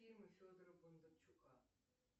фильмы федора бондарчука